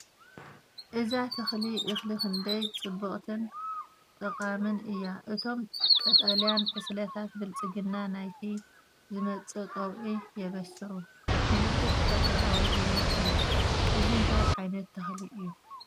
እዛ ተኽሊ እኽሊ ክንደይ ጽብቕትን ጠቓምን እያ! እቶም ቀጠልያ ዕስለታት ብልጽግና ናይቲ ዝመጽእ ቀውዒ የበስሩ። ምልክት ተፈጥሮኣዊ ህይወት እዩ። እዚ እንታይ ዓይነት ተኽሊ እዩ?